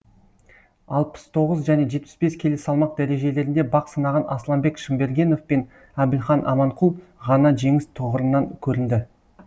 алпыс тоғыз және жетпіс бес келі салмақ дәрежелерінде бақ сынаған асланбек шымбергенов пен әбілхан аманқұл ғана жеңіс тұғырынан көрінді